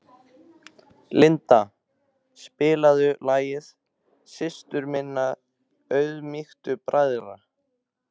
Linda, spilaðu lagið „Systir minna auðmýktu bræðra“.